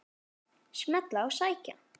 Smella og sækja.